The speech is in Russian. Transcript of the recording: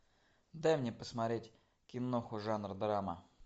дай мне посмотреть киноху жанр драма